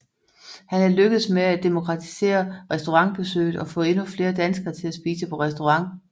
Han er lykkedes med at demokratisere restaurantbesøget og få endnu flere danskere til at spise på restaurant